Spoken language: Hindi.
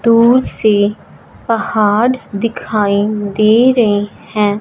दूर से पहाड़ दिखाई दे रहें हैं।